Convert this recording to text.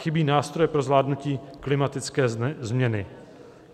Chybí nástroje pro zvládnutí klimatické změny.